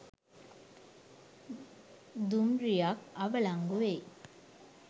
දුම්රිය ක් අවලංගු වෙයි